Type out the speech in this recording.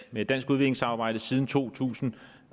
med et dansk udviklingssamarbejde siden to tusind